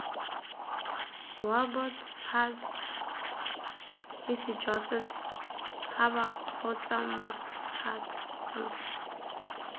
wabots huts hisijwasets habakgotsamots huts